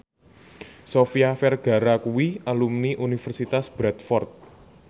Sofia Vergara kuwi alumni Universitas Bradford